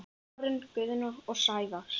Karen Guðna og Sævars